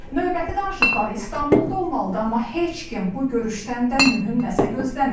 Növbəti danışıqları İstanbulda olmalıdı, amma heç kim bu görüşdən də mühüm nəsə gözləmir.